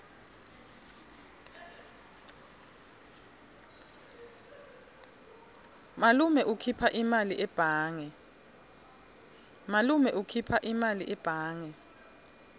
malume ukhipha imali ebhange